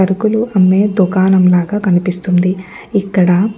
సరుకులు అమ్మే దుకాణం లాగా కనిపిస్తుంది. ఇక్కడ --